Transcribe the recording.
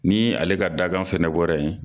Ni ale ka dangan fana bɔra yen.